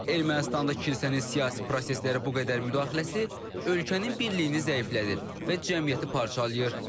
Ermənistanda kilsənin siyasi proseslərə bu qədər müdaxiləsi ölkənin birliyini zəiflədir və cəmiyyəti parçalayır.